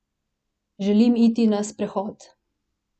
Želim iti na sprehod.